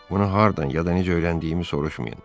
Bunu hardan ya da necə öyrəndiyimi soruşmayın.